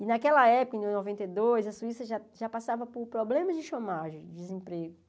E naquela época, em noventa e dois, a Suíça já já passava por problemas de chômage, desemprego.